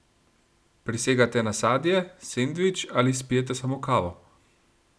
Prisegate na sadje, sendvič ali spijete samo kavo?